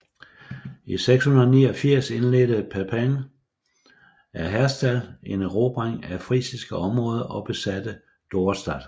I 689 indledte Pipin af Herstal en erobring af frisiske områder og besatte Dorestad